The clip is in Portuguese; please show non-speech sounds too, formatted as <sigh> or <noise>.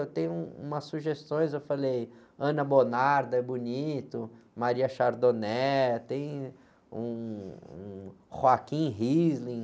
Eu tenho um, umas sugestões, eu falei, <unintelligible> é bonito, <unintelligible> tem um, um. <unintelligible>